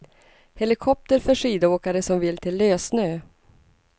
Helikopter för skidåkare som vill till lössnö.